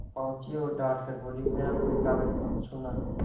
पहुँची और डॉँट कर बोलीमेरा कोई कागज मत छूना